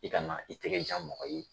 I kana i tɛgɛ jan mɔgɔ ye